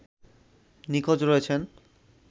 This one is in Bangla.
নিখোঁজ রয়েছেন